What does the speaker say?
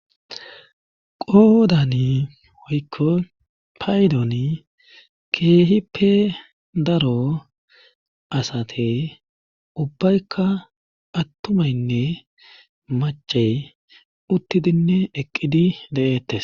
Qoodani oykko paydoni keehi pe daro asate ubbaykka attumaynne macey uttidinne eqqidi de'eettes.